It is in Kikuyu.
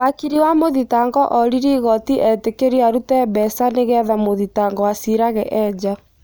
Wakiri wa mũthitangwo oririe igoti etĩkĩrio arute mbeca nĩgetha mũthitangwo acirage e nja